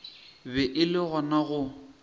be e le gona go